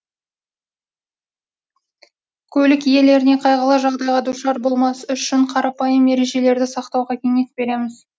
көлік иелеріне қайғылы жағдайға душар болмас үшін қарапайым ережелерді сақтауға кеңес береміз